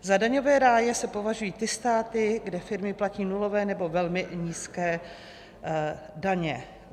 Za daňové ráje se považují ty státy, kde firmy platí nulové nebo velmi nízké daně.